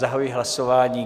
Zahajuji hlasování.